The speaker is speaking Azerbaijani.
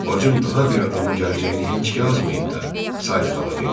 Bacım daha bir adamın gələcəyini heç yazmayıb da, Sayli xala dedi.